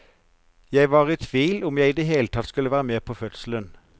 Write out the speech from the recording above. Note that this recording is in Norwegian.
Jeg var i tvil om jeg i det hele tatt skulle være med på fødselen.